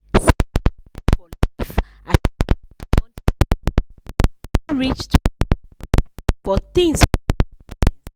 sarah taya for life as she check the monthly bank charges wey reach twenty five dollars for things wey no make sense.